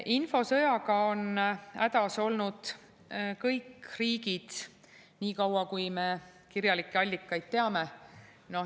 Infosõjaga on hädas olnud kõik riigid, nii kaua kui me kirjalikke allikaid teame.